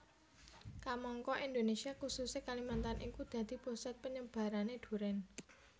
Kamangka Indonésia khususé Kalimantan iku dadi pusat panyebarané durèn